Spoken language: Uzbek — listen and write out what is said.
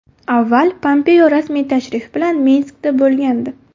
Avval Pompeo rasmiy tashrif bilan Minskda bo‘lgandi.